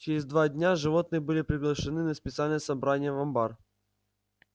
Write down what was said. через два дня животные были приглашены на специальное собрание в амбар